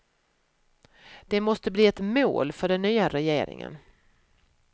Det måste bli ett mål för den nya regeringen.